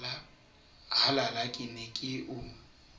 halala ke ne ke o